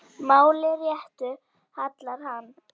máli réttu hallar hann